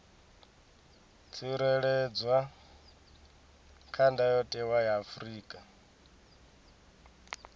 tsireledzwa kha ndayotewa ya afrika